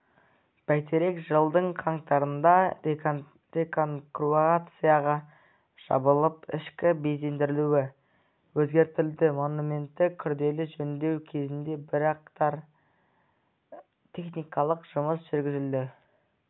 бәйтерек жылдың қаңтарында реконструкцияға жабылып ішкі безендірілуі өзгертілді монументті күрделі жөндеу кезінде бірқатар техникалық жұмыс жүргізілді